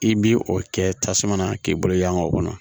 I bi o kɛ tasuma na k'i bolo yaa o kɔnɔ